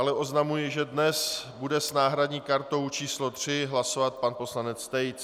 Dále oznamuji, že dnes bude s náhradní kartou číslo 3 hlasovat pan poslanec Tejc.